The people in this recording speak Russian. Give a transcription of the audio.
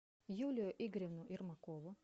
юлию игоревну ермакову